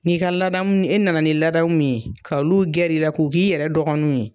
N'i ka ladamu e nana ni ladamu min ye k'a olu gɛrɛ i la k'u k'i yɛrɛ dɔgɔninw ye